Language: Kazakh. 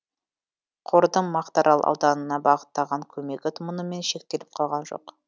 қордың мақтаарал ауданына бағыттаған көмегі мұнымен шектеліп қалған жоқ